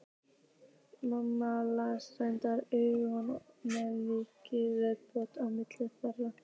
Mamma hans renndi augunum með mikilli velþóknun á milli þeirra.